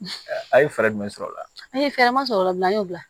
A ye fɛɛrɛ jumɛn sɔrɔ o la a' ye fɛɛrɛ ma sɔrɔ o la an y'o bila